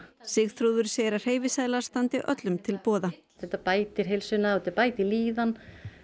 Sigþrúður segir að hreyfiseðlar standi öllum til boða þetta bætir heilsuna og þetta bætir líðan